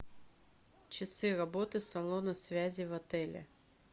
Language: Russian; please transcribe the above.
часы работы салона связи в отеле